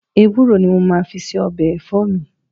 Ewúro ni mo máa fi ń se ọbẹ̀ ẹ̀fọ́ mi